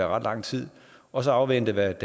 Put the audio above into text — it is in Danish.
ret lang tid og så afvente hvad